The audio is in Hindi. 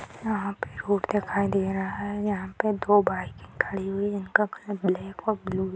यहाँ पे रोड दिखाई दे रहा है जहाँ पे दो बाइके खड़ी हुई इनका कलर ब्लैक और ब्लू --